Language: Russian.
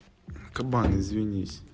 кабан извинись